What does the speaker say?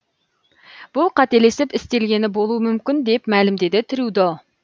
бұл қателесіп істелгені болуы мүмкін деп мәлімдеді трюдо